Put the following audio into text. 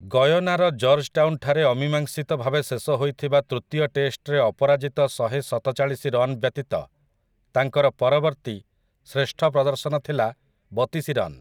ଗୟନାର Georgetown ଠାରେ ଅମୀମାଂସିତ ଭାବେ ଶେଷ ହୋଇଥିବା ତୃତୀୟ ଟେଷ୍ଟରେ ଅପରାଜିତ ଶହେଶତଚାଳିଶି ରନ୍ ବ୍ୟତୀତ ତାଙ୍କର ପରବର୍ତ୍ତୀ ଶ୍ରେଷ୍ଠ ପ୍ରଦର୍ଶନ ଥିଲା ବତିଶି ରନ୍ ।